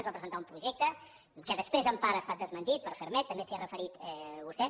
ens va presentar un projecte que després en part ha estat desmentit per ferrmed també s’hi ha referit vostè